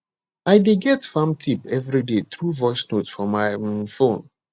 i dey get farming tip every day through voice note for my um phone